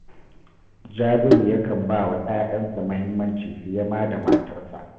Jabiru yakan ba wa ‘ya’yansa muhimmaci fiye ma da matarsa